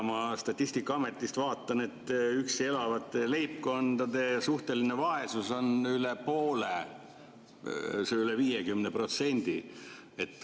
Ma Statistikaametist vaatan, et üksi elavate leibkondade suhteline vaesus on üle poole, üle 50%.